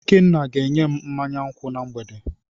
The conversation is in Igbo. Ikenna ga enyem mmanya nkwu na mgbede.